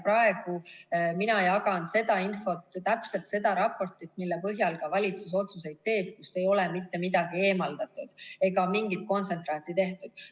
Praegu mina jagan seda infot, täpselt seda raportit, mille põhjal ka valitsus otsuseid teeb, kust ei ole mitte midagi eemaldatud ega mingit kontsentraati tehtud.